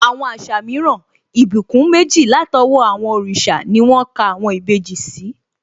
Àwọn àṣà mìíràn, ìbùkún méjì látọwọ́ àwọn òrìṣà ni wón ka àwọn ìbejì sí